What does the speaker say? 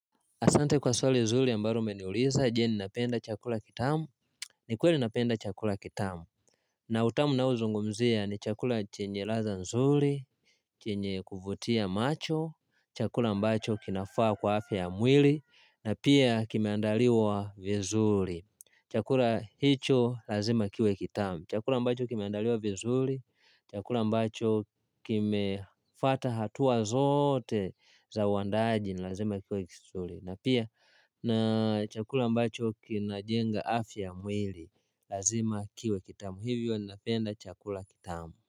Asante kwa swali nzuri ambalo umeniuliza, je ninapenda chakula kitamu, ni kweli napenda chakula kitamu. Na utamu ninaozungumzia ni chakula chenye ladha zuri, chenye kuvutia macho, chakula ambacho kinafaa kwa afya ya mwili, na pia kimeandaliwa vizuri. Chakula hicho lazima kiwe kitamu. Chakula mbacho kimeandaliwa vizuli, chakula ambacho kimefuata hatua zote za uandaaji ni lazima kiwe kizuri na pia na chakula ambacho kinajenga afya ya mwili lazima kiwe kitamu hivyo napenda chakula kitamu.